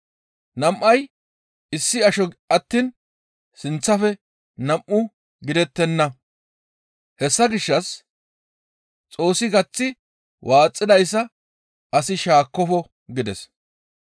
Nam7ay issi asho attiin sinththafe nam7u gidettenna. Hessa gishshas Xoossi gaththi waaxidayssa asi shaakkofo» gides.